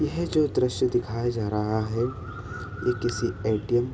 यह जो दृश्य दिखाया जा रहा है। यह किसी ए.टी.एम. --